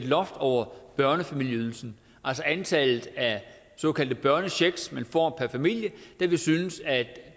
loft over børnefamilieydelsen altså antallet af såkaldte børnechecks man får per familie da vi synes at